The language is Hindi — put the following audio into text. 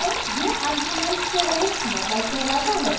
यह आर्गुमेंट से रहित मेथड कहलाता है